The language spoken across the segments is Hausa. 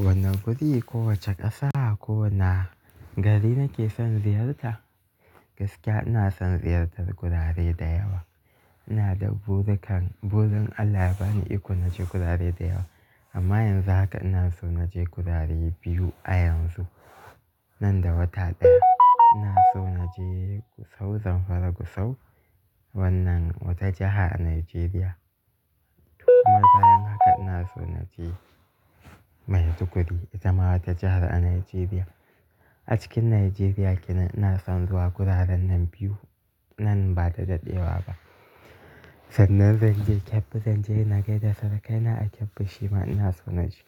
Wan guri, ko wace ƙasa ko wani gari nake son ziyarta? Gaskiya ina son ziyartar gurare da yawa. Ina da burirri ka, burin Allah ya bani iko na je gurare da yawa. Amma yanzu haka ina so na je gurare biyu a yanzu, nan da wata ɗaya. Ina so na je Gusau, Zamfara Gusau, wannan wata jiha a Najeriya. Amma bayan haka ina so na je Maiduguri, ita ma wata jihar a Najeriya. A cikin Najeriya kenan ina son zuwa guraren nan biyu, nan ba da daɗewa ba. Sannan zan je Kebbi, zan je Nagaida, surkaina a Kebbi, Shima ina so na je.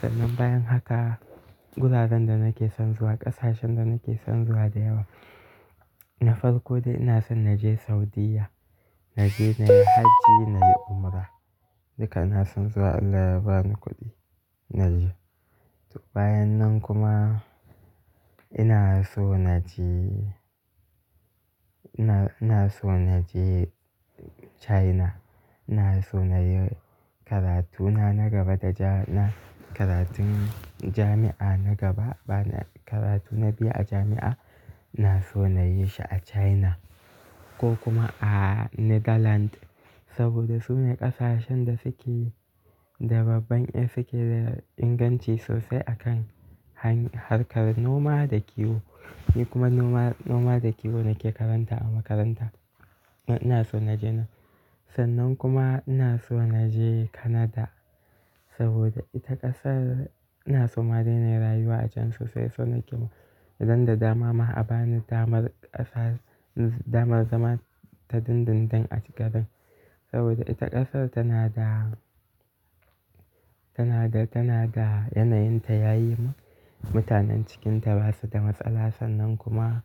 Sannan bayan haka, guraren da nake son zuwa, ƙasashen da nake son zuwa da yawa, na farko dai ina son na je Saudiya. Na je na yi hajji, na yi umra. Duka ina son zuwa, Allah ya bani kuɗi, na je. To bayan nan kuma ina so na je, ina, ina so na je China. Ina so na yi karatu na na gaba da ja, na karatun jami'a na gaba. Ba na, karatuna biyu a jami'a ina so na yi shi a China, ko kuma a Netherland. Saboda su ne ƙasashen da suke da babban, suke da inganci sosai a kan harkar noma da kiwo. Ni kuma noma, noma da kiwo nake karanta a makaranta. Ina son na je nan. Sannan kuma, ina so na je Canada, saboda ita ƙasar ina so ma dai nayi rayuwa a can sosai. So nake idan da dama ma a ba ni damar ƙasa, damar zama ta dindindin a cikin. Saboda ita ƙasar tana da, tana da, tana da yanayinta yayi. Mutanen cikinta ba su da matsala. Sannan kuma,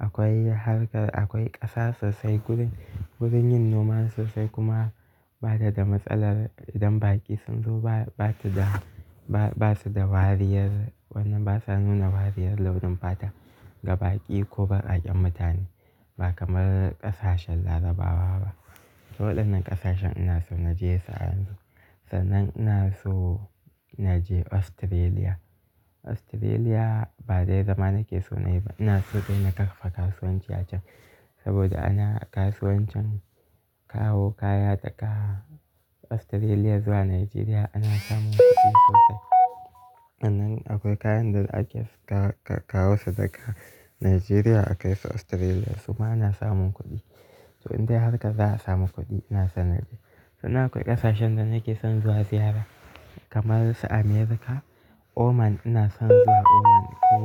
akwai harkar, akwai ƙasa sosai. Guri, gurin yin noma sosai kuma ba ta da matsalar idan baƙi sun zo. Ba, ba su da, ba su da wariyar wannan, ba sa nuna wariyar launin fata, ga baƙi ko bakaƙyen mutane. Ba kamar ƙasashen Larabawa ba. To, waɗannan ƙasashen ina so na je su a yanzu. Sannan ina so na je Australia. Australia, ba dai zama nake so na yi ba. Ina so dai na karfafa kasuwanci a can. Saboda anan a kasuwancin, kawo kaya daga Australia zuwa Najeriya ana samun kuɗi sosai. Sannan, akwai kayan da ake kawo su daga Najeriya akai su Australia, su ma ana samun kuɗi. To, in dai harkar za a samu kuɗi, ina so na je. Sannan akwai ƙasashen da nake son zuwa ziyara kamar su America, Oman ina son zuwa Oman. Ko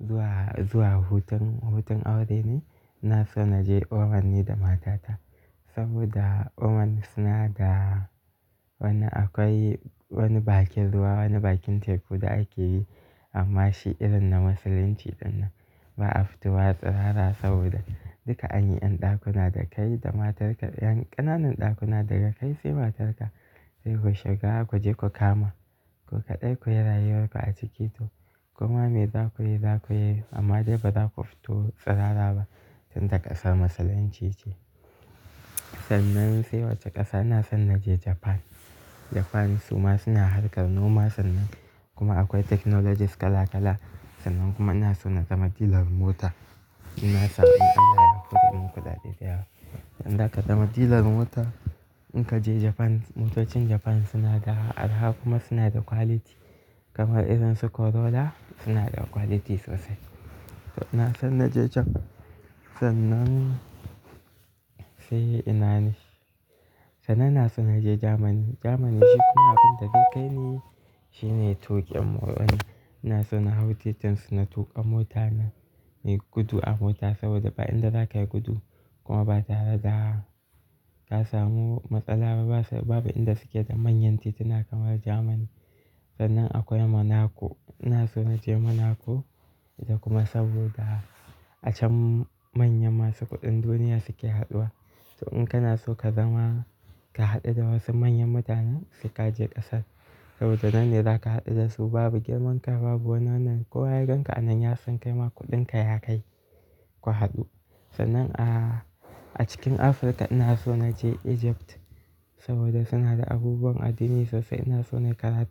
zuwa, zuwa hutun, hutun aure ne ina so na je Oman ni da matata. Saboda Oman suna da wani akwai, wani bakin ruwa, wani bakin teku da ake yi, amma shi irin na musulunci ɗin nan. Ba a fito wa tsirara saboda, duka an yi ɗakuna da kai da matarka, ƴan ƙananan ɗakuna daga kai sai matarka, sai ku shiga ku je ku kama. Ku kaɗai kuyi rayuwar ku a ciki, to koma me za ku yi, za ku yi amma dai ba za ku fito tsirara ba tunda ƙasar musulunci ce. Sannan sai wacce ƙasa, ina son na je Japan. Japan su ma suna harkar noma, sannan kuma akwai technologies kala kala. Sannan kuma ina so na zama dealer mota. Ina son, in Allah ya hore min kuɗaɗe da yawa Inda ka zama dealer mota, in ka je Japan, motocin Japan suna da arha kuma suna da quality. Kamar irin su Corolla, suna da quality sosai. To ina son na je Japan. Sannan, sai ina ne, sannan ina son na je Germany. Germany shi kuma abin da zai kai ni, shi ne tuƙin mota. Ina so na hau titin suna tuƙa mota na, inyi gudu a mota saboda, ba inda za ka yi gudu, kuma ba tare da ka samu matsala ba. Ba su, babu inda suke da manyan tituna kamar Germany. Sannan akwai Monaco, ina so na je Monaco. Da kuma saboda, a can manyan masu kuɗin duniya suke haɗuwa. To, in kana so ka zama, ka haɗu da wasu manyan mutanen sai ka je ƙasar. Saboda, nan ne za ka haɗu da su babu girman kai, babu wani wannan. Ko wa ya ganka anan ya san kai ma kuɗin ka ya kai, ku haɗu. Sannan a, a cikin Afirka ina so na je Egypt, saboda suna da abubuwan addini sosai. Ina so na yi karatu.